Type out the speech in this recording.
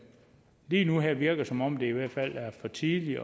lige nu og her virker det som om det i hvert fald er for tidligt